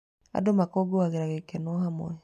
Andũ makũngũagĩra gĩkeno hamwe.